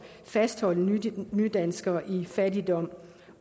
fastholde nydanskere i fattigdom